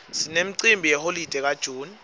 sinemcimbi yeholide ka june